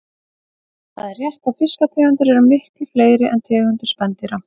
Það er rétt að fiskategundir eru miklu fleiri en tegundir spendýra.